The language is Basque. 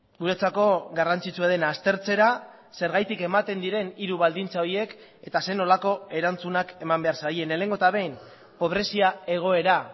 guretzako garrantzitsua dena aztertzera zergatik ematen diren hiru baldintza horiek eta zer nolako erantzunak eman behar zaien lehenengo eta behin pobrezia egoera